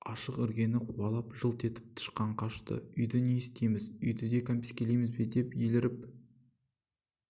ашық іргені қуалап жылт етіп тышқан қашты үйді не істейміз үйді де кәмпескелейміз бе деп еліріп